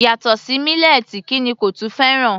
Yàtọ̀ sí mílẹ́ẹ̀tì kí ni kò tún fẹ́ràn?